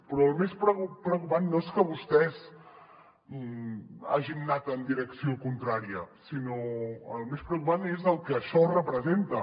però el més preocupant no és que vostès hagin anat en direcció contrària sinó que el més preocupant és el que això representa